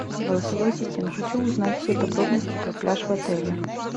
голосовой ассистент хочу узнать все подробности про пляж в отеле